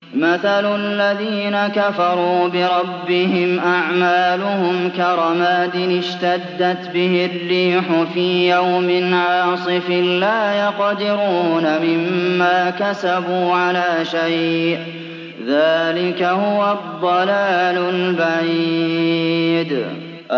مَّثَلُ الَّذِينَ كَفَرُوا بِرَبِّهِمْ ۖ أَعْمَالُهُمْ كَرَمَادٍ اشْتَدَّتْ بِهِ الرِّيحُ فِي يَوْمٍ عَاصِفٍ ۖ لَّا يَقْدِرُونَ مِمَّا كَسَبُوا عَلَىٰ شَيْءٍ ۚ ذَٰلِكَ هُوَ الضَّلَالُ الْبَعِيدُ